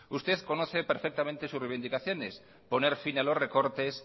usted conoce perfectamente sus reivindicaciones poner fin a los recortes